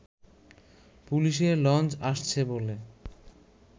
পুলিশের লঞ্চ আসছে বলে